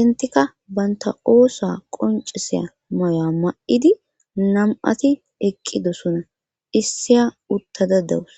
intika baynta oosa qonciseya maya ma7idi nam7ati eqqidosona issiya uttada dawus